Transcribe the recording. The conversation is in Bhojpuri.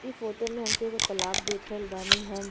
इ फोटो में हमके एगो तलाब देख रहल बानी हम।